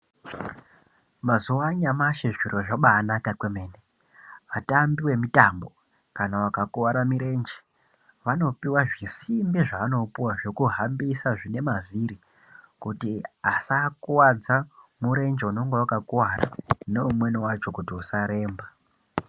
Mazuva anyamashi zviro zvabanaka kwemene Vatambi vemitambo kana vakakuwara mirenje vanopuwa zvisimbi zvavanazvo zvekuhambisa kuti asakuwadzairenje inenge yakakuwara neimweni yacho kuti isaremba.